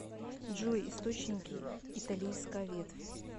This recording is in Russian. джой источники италийская ветвь